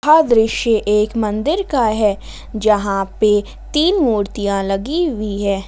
यह दृश्य एक मंदिर का है यहां पे तीन मूर्तियां लगी हुई है।